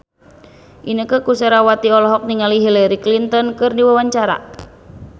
Inneke Koesherawati olohok ningali Hillary Clinton keur diwawancara